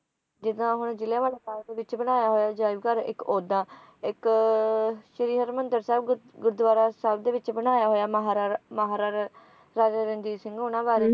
ਜਿੱਦਾਂ ਹੁਣ ਜਲ੍ਹਿਆਂ ਵਾਲੇ ਬਾਗ ਦੇ ਵਿਚ ਬਣਾਇਆ ਹੋਇਆ ਅਜਾਇਬਘਰ ਇੱਕ ਉੱਦਾਂ ਇੱਕ ਸ਼੍ਰੀ ਹਰਿਮੰਦਰ ਸਾਹਿਬ ਗੁਰੂਦੁਆਰੇ ਸਾਹਿਬ ਦੇ ਵਿਚ ਬਣਾਇਆ ਹੋਇਆ ਮਹਾਰਾਰਾ`ਮਹਾਰਾਰਾ`ਰਾਜਾ ਰਣਜੀਤ ਸਿੰਘ ਉਹਨਾਂ ਬਾਰੇ